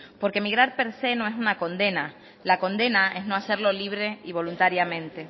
porque emigrar per se no es una condena la condena es no hacerlo libre y voluntariamente